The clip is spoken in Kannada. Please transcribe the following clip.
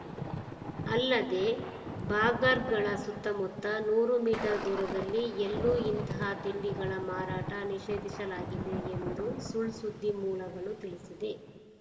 ಅಲ್ಲದೇ ಬಾಗರ್ಗಳ ಸುತ್ತಮುತ್ತ ನೂರು ಮೀಟರ್‌ ದೂರದಲ್ಲಿ ಎಲ್ಲೂ ಇಂತಹ ತಿಂಡಿಗಳ ಮಾರಾಟ ನಿಷೇಧಿಸಲಾಗಿದೆ ಎಂದು ಸುಳ್‌ ಸುದ್ದಿ ಮೂಲಗಳು ತಿಳಿಸಿದೆ